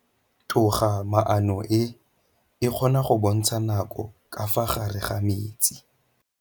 Toga-maanô e, e kgona go bontsha nakô ka fa gare ga metsi.